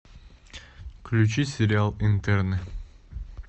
включи сериал интерны